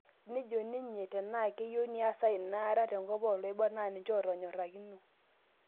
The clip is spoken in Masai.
Nejo ninye tenaa keyieu niasa inaraa tenkop oloibor naa ninje oontyorakino